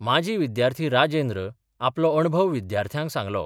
माजी विद्यार्थी राजेंद्र आपलो अणभव विद्यार्थ्यांक सांगलो.